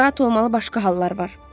Narahat olmalı başqa hallar var.